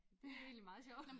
Det egentlig meget sjovt